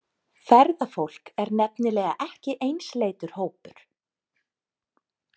Ferðafólk er nefnilega ekki einsleitur hópur.